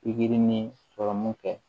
Pikiri ni sɔrɔmu kɛ